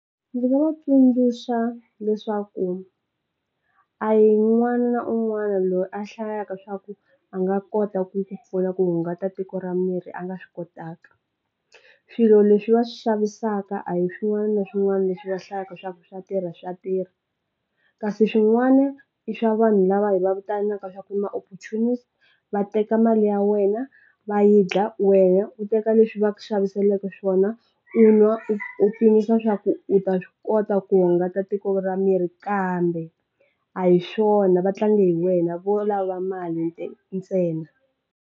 Ndzi nga va tsundzuxa leswaku a hi un'wana na un'wana loyi a hlayaka swa ku a nga kota ku ku pfuna ku hungata tiko ra miri a nga swi kotaka. Swilo leswi va swi xavisaka a hi swin'wana na swin'wana leswi va hlayaka swa ku swa tirha swa tirha kasi swin'wana i swa vanhu lava va vitanaka swa ku i ma opportunist va teka mali ya wena va yi dla, wehe u teka leswi va xaviseleke swona u nwa u pimisa swa ku u ta swi kota ku hungata tiko ra miri kambe a hi swona va tlanga hi wena vo lava mali ntsena.